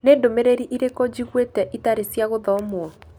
Nĩ ndũmĩrĩri irĩkũ njiguĩte itarĩ cia gũthomwo?